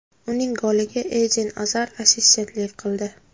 Uning goliga Eden Azar assistentlik qildi.